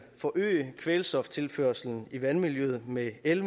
forøge kvælstoftilførslen i vandmiljøet med en